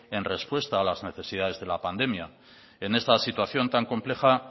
en respuesta a las necesidades de la pandemia en esta situación tan compleja